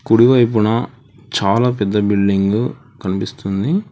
కుడివైపున చాలా పెద్ద బిల్డింగు కనిపిస్తుంది.